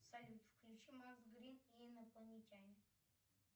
салют включи макс грин и инопланетяне